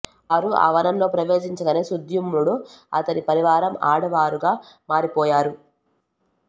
వారు ఆ వనంలో ప్రవేశించగానే సుద్యుమ్నుడు అతని పరివారం ఆడవారుగా మారిపోయారు